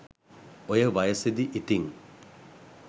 ඔය වයසෙදි ඉතිං